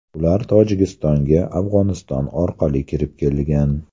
Ular Tojikistonga Afg‘oniston orqali kirib kelgan.